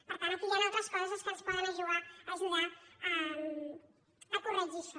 per tant aquí hi han altres coses que ens poden ajudar a corregir això